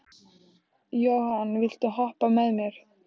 Johan, viltu hoppa með mér?